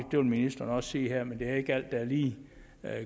det vil ministeren også sige her men det er ikke alt der er lige